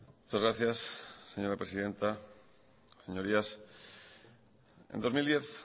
muchas gracias señora presidenta señorías en dos mil diez